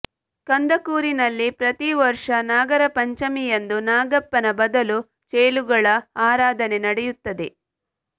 ಕಂದಕೂರಿನಲ್ಲಿ ಪ್ರತಿ ವರ್ಷ ನಾಗರ ಪಂಚಮಿಯಂದು ನಾಗಪ್ಪನ ಬದಲು ಚೇಳುಗಳ ಆರಾಧನೆ ನಡೆಯುತ್ತದೆ